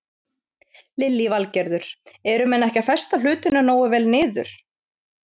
Lillý Valgerður: Eru menn ekki að festa hlutina nógu vel niður?